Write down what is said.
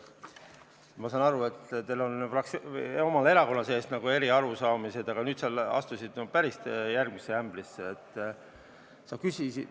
Ma saan aru, et teil on omal erakonna sees nagu erinevad arusaamad, aga nüüd sa astusid järgmisesse ämbrisse.